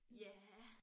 Ja